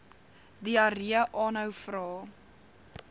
diarree aanhou vra